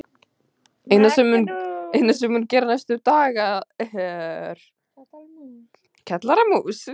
Magnús Hlynur Hreiðarsson: Þannig að það mun mikið gerast næstu daga?